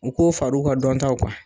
U k'o fari u ka dɔntaw kan.